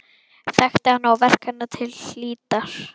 Þekkti hana og verk hennar til hlítar.